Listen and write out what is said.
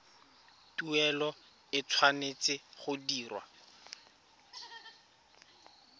tuelo e tshwanetse go dirwa